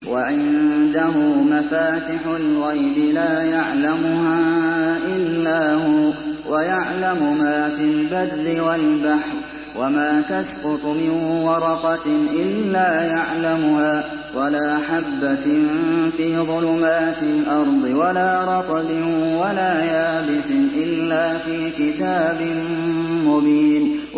۞ وَعِندَهُ مَفَاتِحُ الْغَيْبِ لَا يَعْلَمُهَا إِلَّا هُوَ ۚ وَيَعْلَمُ مَا فِي الْبَرِّ وَالْبَحْرِ ۚ وَمَا تَسْقُطُ مِن وَرَقَةٍ إِلَّا يَعْلَمُهَا وَلَا حَبَّةٍ فِي ظُلُمَاتِ الْأَرْضِ وَلَا رَطْبٍ وَلَا يَابِسٍ إِلَّا فِي كِتَابٍ مُّبِينٍ